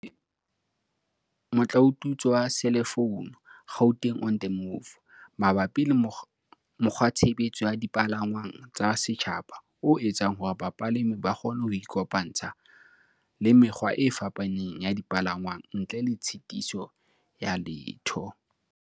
le thakgotse motlaotutswe wa selefounu, Gauteng on the Move, mabapi le mokgwatshebetso wa dipalangwang tsa setjhaba o etsang hore bapalami ba kgone ho ikopantsha le mekgwa e fapaneng ya dipalangwang ntle le tshitiso ya letho.